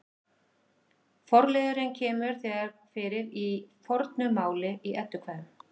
Forliðurinn kemur þegar fyrir í fornu máli í Eddukvæðum.